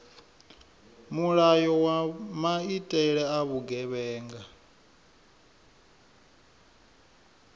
mulayo wa maitele a vhugevhenga